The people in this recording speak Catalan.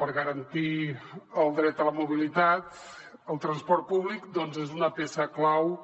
per garantir el dret a la mobilitat el transport públic doncs és una peça clau